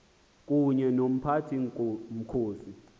kunye nomphathi mkhosi